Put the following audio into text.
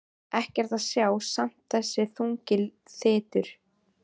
Ekkert að sjá en samt þessi þungi þytur.